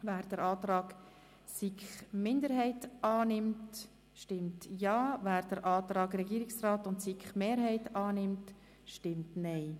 Wer den Antrag der SiK-Minderheit annimmt, stimmt Ja, wer den Antrag der SiK-Mehrheit und des Regierungsrats annimmt, stimmt Nein.